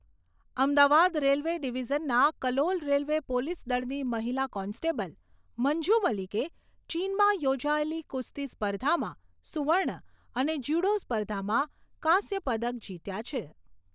Ahmedabad railway ડીવીઝનના Kalol railway police દળની મહિલા કોન્સ્ટેબલ મંજૂ મલિકે ચીનમાં યોજાયેલી કુસ્તી સ્પર્ધામાં સુવર્ણ અને જ્યુડો સ્પર્ધામાં કાંસ્ય પદક જીત્યા છે.